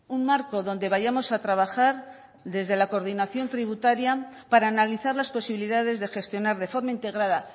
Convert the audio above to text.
un marco donde vayamos a trabajar desde la coordinación tributaria para analizar las posibilidades de gestionar de forma integrada